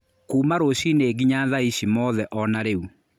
Kuma rũcinĩ nginya thaici mothe onarĩu.